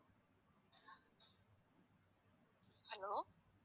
hello